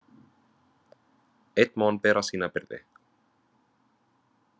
Einn má hann bera sína byrði.